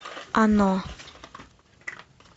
оно